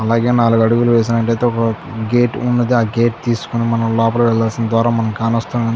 అలాగే నాలుగు అడుగులు వేసినట్లయితే ఒక గేటు ఉన్నది. ఆ గేటు తీసుకొని మనం లోపలికి వెళ్లాల్సిన ద్వారం మనం --